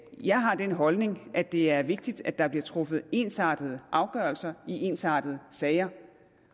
jeg har den holdning at det er vigtigt at der bliver truffet ensartede afgørelser i ensartede sager